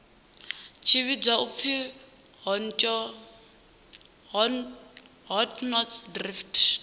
tshi vhidzwa u pfi hotnotsdrift